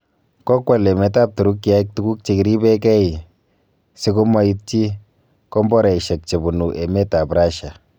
Kokwal emet ab Turukiek tuguk chekiribeng'e sikomoiti komboraisiek chebunu emet ab Russia.